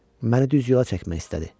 Məni düz yola çəkmək istədi.